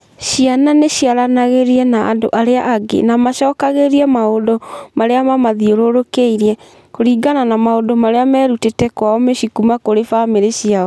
Ciana nĩ ciaranagĩria na andũ arĩa angĩ na macokagĩrie maũndũ marĩa mamũthiũrũrũkĩirie kũringana na maũndũ marĩa merutĩte kwao mĩciĩ kuuma kũrĩ famĩlĩ ciao.